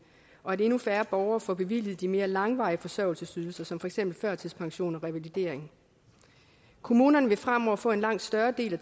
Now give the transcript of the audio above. og at endnu færre borgere får bevilget de mere langvarige forsørgelsesydelser som for eksempel førtidspension og revalidering kommunerne vil fremover få en langt større del af